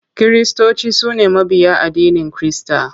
Kiristoci su ne mabiya addinin Kirista.